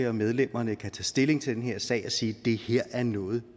og medlemmerne kan tage stilling til den her sag og sige det her er noget